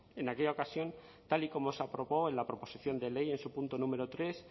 en aquella ocasión tal y como se aprobó en la proposición de ley en su punto número tres